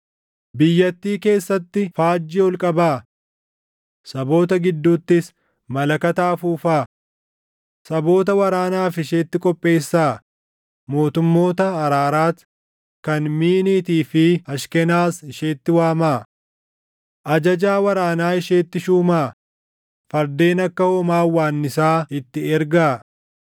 “Biyyattii keessatti faajjii ol qabaa! Saboota gidduuttis malakata afuufaa! Saboota waraanaaf isheetti qopheessaa; mootummoota Araaraat, kan Miiniitii fi Ashkenas isheetti waamaa. Ajajaa waraanaa isheetti shuumaa; fardeen akka hoomaa hawwaannisaa itti ergaa.